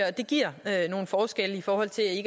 og det giver nogle forskelle i forhold til